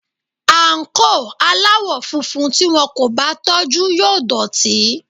Àǹkóò aláwọ̀ funfun tí wón kò bá tọ́jú yóò dọ̀tí.